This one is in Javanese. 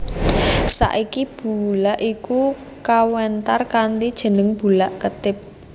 Saiki bulak iku kawentar kanthi jeneng Bulak Kethip